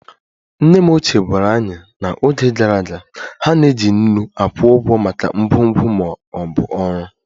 Nne m ochie gwara anyị na n'oge gara aga, ha na-eji nnu akwụ ụgwọ maka ngwongwo ma ọ bụ ọrụ